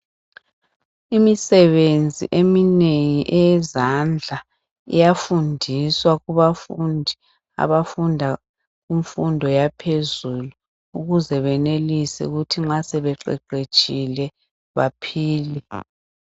Imisebenzi eminengi eyezandla iyafundiswa kubafundi abafunda kumfundo yaphezulu ukuze benelise ukuthi nxa sebeqeqetshile baphile.